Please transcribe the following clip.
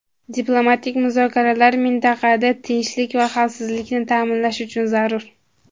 diplomatik muzokaralar mintaqada tinchlik va xavfsizlikni ta’minlash uchun zarur.